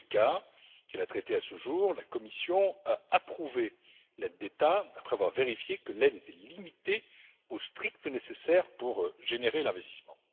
Dans tous les cas qu'elle a traités à ce jour, la Commission a approuvé l'aide d'État, après avoir vérifié qu'elle était limitée au strict nécessaire pour générer l'investissement.